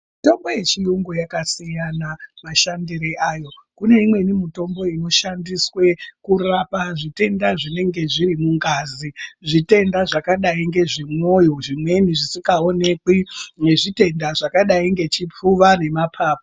Mitombo yechiyungu yakasiyana mashandiro ayo. Kune imweni mitombo inoshandiswe kurapa zvitenda zvinenge zviri mungazi. Zvitenda zvakadai nezvemwoyo zvimweni zvisikaonekwi nezvitenda zvakadai ngechipfuva nemapapu.